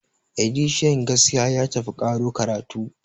editian gaskiya ya tafi karo karatu